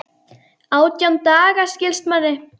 Átján daga, skilst manni.